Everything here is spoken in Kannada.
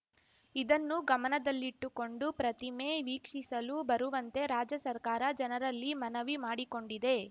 ಇದನ್ನು ಗಮನದಲ್ಲಿಟ್ಟುಕೊಂಡು ಪ್ರತಿಮೆ ವೀಕ್ಷಿಸಲು ಬರುವಂತೆ ರಾಜ್ಯ ಸರ್ಕಾರ ಜನರಲ್ಲಿ ಮನವಿ ಮಾಡಿಕೊಂಡಿದೆ